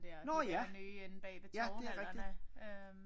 Nårh ja ja det er rigtigt